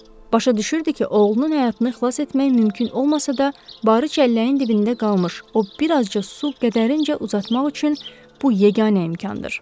Başa düşürdü ki, oğlunun həyatını xilas etmək mümkün olmasa da, Barı çəlləyin dibində qalmış, o bir azca su qədərincə uzatmaq üçün bu yeganə imkandır.